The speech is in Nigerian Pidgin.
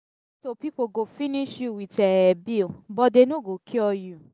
hospital people go finish you with um bill but dey no go cure you.